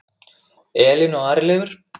Elín og Ari Leifur.